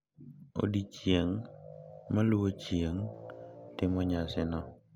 Odiechieng` maluwo chieng` timo nyasino,